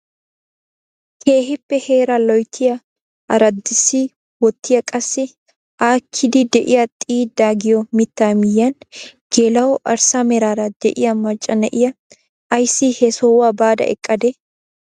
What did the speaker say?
Keehippe heeraa loyttiyaa araddisi wottiyaa qassi aakkidi de'iyaa xiiddaa giyoo mittaa miyiyaan geela'o arssa meraara de'iyaa macca na'iyaa ayssi he sohuwaa baada eqqadee?